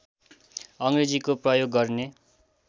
अङ्ग्रेजीको प्रयोग गर्ने